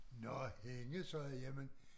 Nå hende sagde jeg jamen